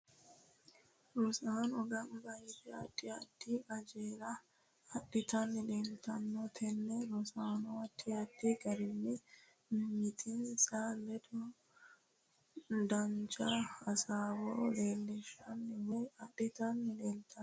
Rosaano ganbba yite addi addi qajeele adhitani leeltanno tini rosaano addi addi garinni miimitinsa ledo dancha hasaawo leelishani woy adhitanni leeltanno